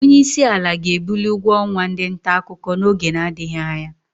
Onyeisiala ga-ebuli ụgwọ ọnwa ndị ntaakụkọ n'oge na-adịghị anya.